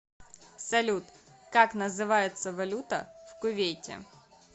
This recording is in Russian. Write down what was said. салют как называется валюта в кувейте